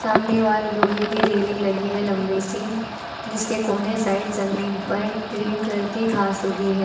सामने वॉल लोहे की रेलिंग लगी है लंबी सी जिसके कौने है साइड जमीन पर ग्रीन कलर की घास उगी है।